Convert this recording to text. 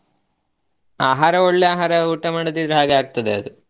ಆಹಾರ ಒಳ್ಳೇ ಆಹಾರ ಊಟ ಮಾಡದಿದ್ರೆ ಹಾಗೆ ಆಗ್ತಾದ ಅದು.